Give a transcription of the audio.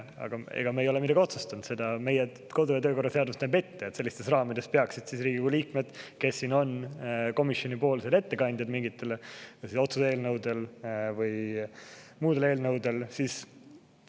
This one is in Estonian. Aga meie ei ole midagi otsustanud, lihtsalt meie kodu- ja töökorra seadus näeb ette, et sellistes raamides peaksid Riigikogu liikmed, kes on siin komisjoni ettekandjad mingite otsuse eelnõude või muude eelnõude puhul,.